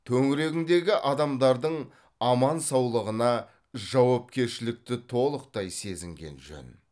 төңірегіңдегі адамдардың аман саулығына жауапкершілікті толықтай сезінген жөн